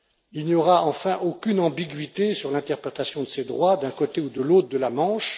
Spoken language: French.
Il n'y aura enfin aucune ambiguïté sur l'interprétation de ces droits d'un côté ou de l'autre de la Manche.